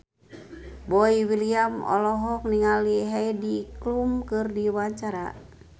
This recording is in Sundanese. Boy William olohok ningali Heidi Klum keur diwawancara